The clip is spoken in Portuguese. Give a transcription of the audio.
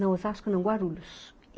Não, Osasco não, Guarulhos.